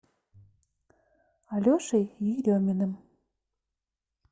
алешей ереминым